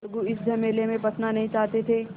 अलगू इस झमेले में फँसना नहीं चाहते थे